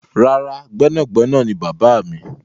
Rárá, gbẹ́nàgbẹnà ni bàbáà mi.